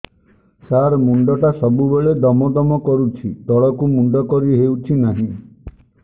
ସାର ମୁଣ୍ଡ ଟା ସବୁ ବେଳେ ଦମ ଦମ କରୁଛି ତଳକୁ ମୁଣ୍ଡ କରି ହେଉଛି ନାହିଁ